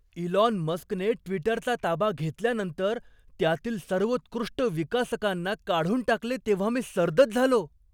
Elon मस्कने ट्विटरचा ताबा घेतल्यानंतर त्यातील सर्वोत्कृष्ट विकासकांना काढून टाकले तेव्हा मी सर्दच झालो.